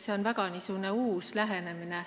See on väga uus lähenemine.